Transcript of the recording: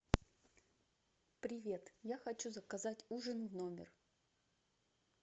привет я хочу заказать ужин в номер